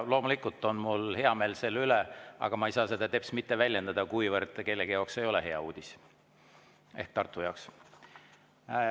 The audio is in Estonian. Loomulikult on mul hea meel selle üle, aga ma ei saa seda teps mitte väljendada, kuna kellegi jaoks – ehk Tartu jaoks – see ei ole hea uudis.